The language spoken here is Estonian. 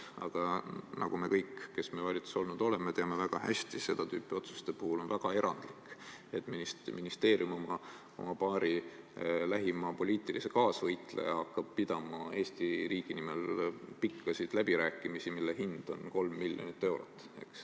Aga nagu me kõik, kes me valitsuses olnud oleme, väga hästi teame, on seda tüüpi otsuste puhul väga erandlik, et ministeerium hakkab oma paari lähima poliitilise kaasvõitlejaga pidama Eesti riigi nimel pikki läbirääkimisi, mille hind on 3 miljonit eurot.